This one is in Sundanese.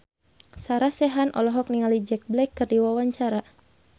Sarah Sechan olohok ningali Jack Black keur diwawancara